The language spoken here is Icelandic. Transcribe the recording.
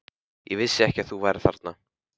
Ég vissi ekki að þú værir þarna.